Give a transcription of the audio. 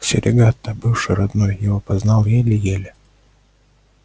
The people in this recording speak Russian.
серегато бывший родной его опознал еле-еле